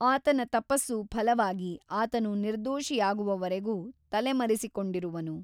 ಆತನ ತಪಸ್ಸು ಫಲವಾಗಿ ಆತನು ನಿರ್ದೋಷಿಯಾಗುವವರೆಗೂ ತಲೆ ಮರೆಸಿಕೊಂಡಿರುವನು.